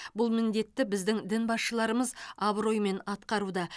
бұл міндетті біздің дін басшыларымыз абыроймен атқаруда